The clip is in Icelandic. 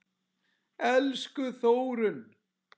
Elsku Þórunn.